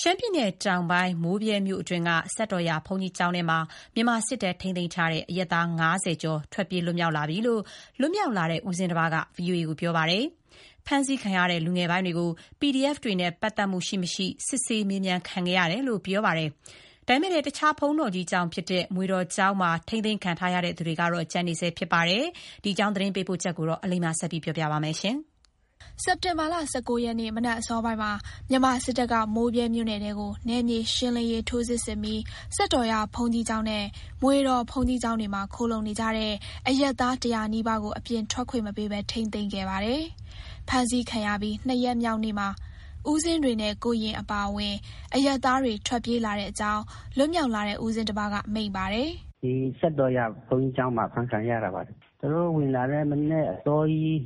ရှမ်းပြည်နယ်တောင်ပိုင်း မိုးဗြဲမြို့အတွင်းက စက်တော်ရာဘုန်းကြီးကျောင်းထဲမှာ မြန်မာစစ်တပ်ထိန်းသိမ်းထားတဲ့ အရပ်သား ၅၀ ကျော် ထွက်ပြေးလွတ်မြောက်လာပြီလို့ လွတ်မြောက်လာတဲ့ ဦးဇင်းတပါးက VOA ကို ပြောပါတယ်။ ဖမ်းဆီးခံရတဲ့ လူငယ်ပိုင်းတွေကို PDF တွေနဲ့ ပတ်သက်မှုရှိ မရှိ စစ်ဆေးမြန်းခံခဲ့ရတယ်လို့ ပြောပါတယ်။ ဒါပေမယ့်လည်း မွေတော်ကျောင်းမှာ ထိန်းသိမ်းခံထားရသူတွေကတော့ ကျန်နေဆဲဖြစ်ပါတယ်။ ဒီသတင်းပေးပို့ချက်ကို အလိမ္မာကတင်ပြပေးထားပါတယ်။ စက်တင်ဘာ ၁၉ ရက်နေ့ မနက်အစောပိုင်းမှာ မြန်မာစစ်တပ်က မိုးဗြဲမြို့နယ်ထဲကို နယ်မြေရှင်းလင်းရေး ထိုးစစ်ဆင်ပြီး စက်တော်ရာဘုန်းကြီးကျောင်းနဲ့ မွေတော် ဘုန်းကြီးကျောင်းတွေမှာ ခိုလှုံနေကြတဲ့ အရပ်သား ၁၀၀ နီးပါးကို အပြင်ထွက်ခွင့် မပေးဘဲ ထိန်းသိမ်းခဲ့ပါတယ်။ ဖမ်းဆီးခံရပြီး ၂ ရက်မြောက်နေ့မှာ ဦးဇင်းတွေနဲ့ ကိုယ်ရင်အပါအဝင် အရပ်သားတွေ ထွက်ြပေးလာတဲ့အကြောင်း လွတ်မြောက်လာတဲ့ ဦးဇင်းတပါးက မိန့်ပါတယ်။ “ဒီစက်တော်ရာဘုန်းကြီးကျောင်းမှာ အဖမ်းခံရတာပါ။ သူတို့ဝင်လာတဲ့ မနက်အစောကြီး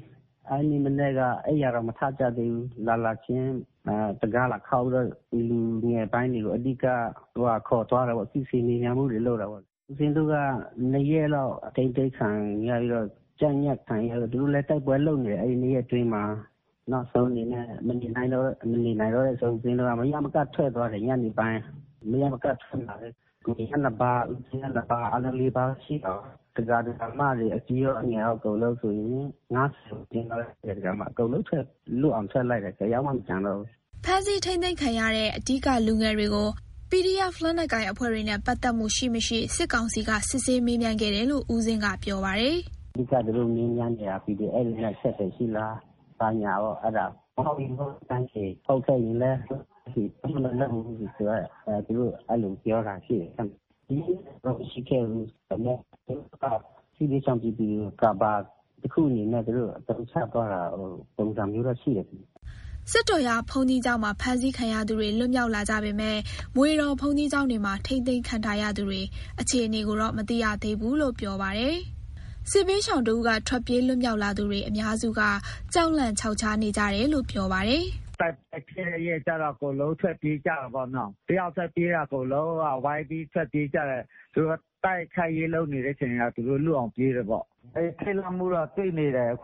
အဲ့နေ့မနက်က အိပ်ယာတွေမထကြသေးဘူး။ လာလာခြင်း တံခါးလာခေါက်ပြီးတော့ လူငယ်ပိုင်းတွေကို အဓိကခေါ်သွားတယ်ပေါ့။ စစ်ဆေးမေးမြန်းမှုတွေ လုပ်တာပေါ့။ ဦးဇင်းတို့က ၂ ရက်လောက် အထိန်းသိမ်းခံရပြီးတော့ ကြပ်ညှပ်ခံရပြီးတော့ သူတို့လည်း တိုက်ပွဲလုပ်နေတယ်။ အဲ့ ၂ ရက်အတွင်းမှာ နောက်ဆုံးအနေနဲ့ မနေနိုင်တော့တဲ့အဆုံး မရမကထွက်သွားတယ်။ ညနေပိုင်း မရမကထွက်လာတယ်။ ကိုရင်က ၂ ပါး၊ ဦးဇင်းက ၂ ပါး။ အားလုံး ၄ ပါးရှိတာရော၊ ဒကာ ဒကာမတွေ အကြီးရော အငယ်ရော အကုန်လုံးဆိုရင် ၅၀ ဝန်းကျင်၊ ၅၀ ကျော် အကုန်လုံး လွတ်အောင်ထွက်လိုက်တယ်။ တယောက်မှ မကျန်တော့ဘူး။” ဖမ်းဆီးထိန်းသိမ်းခံရတဲ့ လူငယ်တွေကို PDF လက်နက်ကိုင်အဖွဲ့တွေနဲ့ ပတ်သက်မှုရှိ မရှိ စစ်ကောင်စီက အဓိကစစ်ဆေးမေးမြန်းခဲ့တယ်လို့ ဦးဇင်းက ပြောပါတယ်။ “အဓိက သူတို့ မေးမြန်းနေတာ PDF တွေနဲ့ အဆက်အသွယ်ရှိလား၊ ဘာညာပေါ့ အဲ့ဒါ မဟုတ်ရင် မဟုတ်တဲ့အတိုင်းဖြေ၊ ဟုတ်ခဲ့ရင်လည်း ဟုတ်တဲ့အတိုင်းဖြေ ဘာမှမလုပ်ဘူး၊ သူတို့ အဲ့လိုပြောတာရှိတယ်။ ရိုက်နှက်တာတော့ မရှိခဲ့ဘူး။” စက်တော်ရာဘုန်းကြီးကျောင်းမှာ ဖမ်းဆီးခံရသူတွေ လွတ်မြောက်လာကြပေမယ့် မွေတော်ဘုန်းကြီးကျောင်းတွေမှာ ထိန်းသိမ်းခံထားရသူတွေ အခြေအနေကိုတော့ မသိရသေးဘူးလို့ ပြောပါတယ်။ စစ်ဘေးရှောင်တဦးက ထွက်ပြေးမြောက်လာသူတွေ အများစုက ကြောက်လန့်ခြောက်ခြားနေကြတယ်လို့ ပြောပါတယ်။ “တိုက်ပွဲဖြစ်တဲ့ရက်ကျတော့ အကုန်လုံးထွက်ပြေးကြတယ်ပေ့ါနော်။ တယောက်ထွက်ပြေးတာ အကုန်လုံးက ဝိုင်းပြီးထွက်ပြေးကြတယ်။ သူတို့က တိုက်ခိုက်ရေးလုပ်နေတဲ့အချိန် သူတို့ထွက်အောင်ပြေးတယ်ပေါ့။ ထိတ်လန့်မှုတော့ တွေ့နေတယ်။”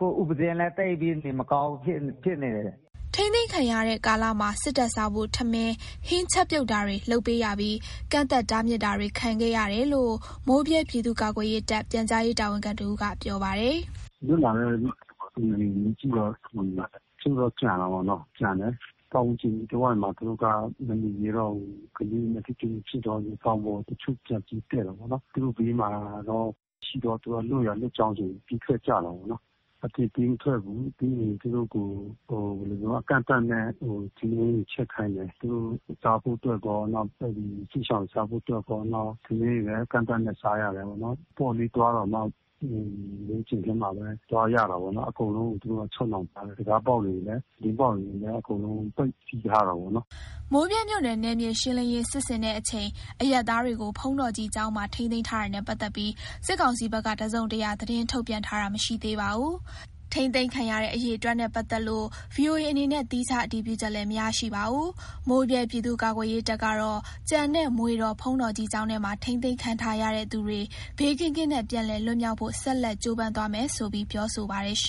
ထိန်းသိမ်းခံရတဲ့ကာလမှာ စစ်တပ်စားဖို့ ထမင်း၊ဟင်းချက်ပြုတ်တာတွေ လုပ်ပေးရပြီး ကန့်သတ်တားမြစ်တာတွေတော့ ခံခဲ့ရတယ်လို့ မိုးဗြဲပြည်သူ့ကာကွယ်ရေးတပ် ပြန်ကြားရေးတာဝန်ခံတဦးက ပြောပါတယ်။ “လွတ်လာတဲ့လူတွေကို မေးကြည့်တော့ တချို့တော့ ကျန်တယ်ပေါ့နော်။ ကျန်တယ်။ ပတ်ဝန်းကျင်အနီးတဝိုက်မှာ သူတို့က မနေရဲတော့ဘူး။ ကလေးတွေနဲ့ ထိတွေ့မှုဖြစ်တော့ တောင်ပေါ်ကို တချို့ပြန်ပေါ်တက်တယ်ပေါ့နော်။ ဘေးမှာ စစ်သားမရှိတော့ သူတို့လွတ်ရာလွတ်ကြောင်း ပြေးထွက်ကြတာပေါ့နော်။ အပြင်ပေးမထွက်ဘူး။ ပြီးရင် သူတို့ကို အကန့်အသတ်နဲ့ ထမင်းတွေချက်ခိုင်းတယ် ။ သူတို့စားဖို့အတွက်ရော နောက် အဲ့ဒီစစ်ရှောင်စားဖို့အတွက်ရော၊ထမင်းတွေလည်း အကန့်အသတ်နဲ့ စားရတယ်ပေါ့နော်။ အပေါ့အလေးသွားတောင်မှ ကျဉ်ထဲမှာပဲ သွားရတာပေါ့နော်။ အကုန်လုံးက သူတို့ချုပ်နှောင်ထားတယ်။ တံခါးပေါက်တွေကိုလည်း အကုန်လုံးကို ပိတ်ချည်ထားတယ်ပေါ့နော်။” မိုးဗြဲမြို့နယ် နယ်မြေရှင်းလင်းရေး စစ်ဆင်တဲ့အချိန် အရပ်သားတွေကို ဘုန်းတော်ကြီးကျောင်းထဲမှာ ထိန်းသိမ်းထားတာနဲ့ ပတ်သက်ပြီး စစ်ကောင်စီဘက်က တစုံတရာ သတင်းထုတ်ပြန်တာတော့ မရှိသေးပါဘူး။ ထိန်းသိမ်းခံရတဲ့ အရေအတွက်နဲ့ ပတ်သက်လို့ VOA အနေနဲ့ သီးခြားအတည်ပြုချက်လည်း မရရှိပါဘူး။ မိုးဗြဲ ပြည်သူ့ကာကွယ်ရေးတပ်ကတော့ ကျန်တဲ့ မွေတော် ဘုန်းတော်ကြီးကျေင်းထဲမှာ ထိန်းသိမ်းခံထားရတဲ့ သူတွေ ဘေးကင်းကင်းနဲ့ ပြန်လည်လွတ်မြောက်ဖို့ ဆက်လက်ကြိုးပမ်းသွားမယ်ဆိုပြီး ပြောဆိုပါတယ်။